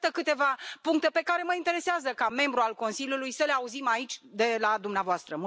Iată câteva puncte pe care mă interesează, ca membru al Consiliului, să le auzim aici de la dumneavoastră.